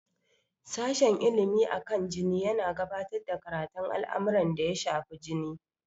Sashen Ilimi akan jini yana gabatar da karatun al'amuran da ya shafi jini.